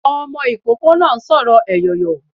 Ọmọ ikoko náá sórò eyọyọ